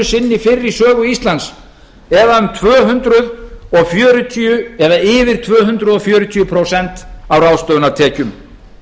sinni fyrr í sögu íslands eða um tvö hundruð fjörutíu eða yfir tvö hundruð fjörutíu prósent af ráðstöfunartekjum